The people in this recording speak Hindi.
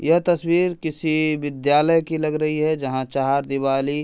यह तस्वीर किसी विद्यालय की लग रही है जहां चारदीवाली --